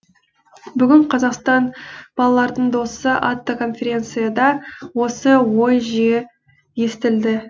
бүгін қазақстан балалардың досы атты конференцияда осы ой жиі естілді